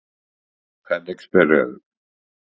Hvernig spyrðu?